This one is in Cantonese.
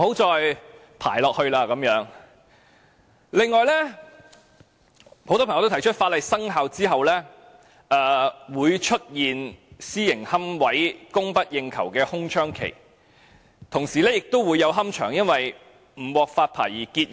此外，很多朋友提出在法例生效後，會出現私營龕位供不應求的空窗期，同時亦會有龕場因為不獲發牌而結業。